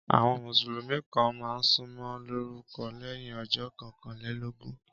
Àwọn Mùsùlùmí kàn máa ń sọmọ lórúkọ lẹ́yìn ọjọ́ kọkànlélógún